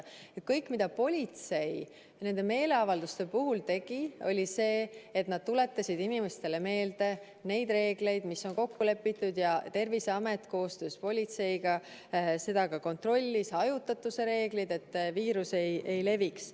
Kõik, mida politsei nende meeleavalduste puhul tegi, oli see, et nad tuletasid inimestele meelde neid reegleid, mis on kokku lepitud, ja Terviseamet koostöös politseiga hajutatuse reeglitest ka kontrollis, et viirus ei leviks.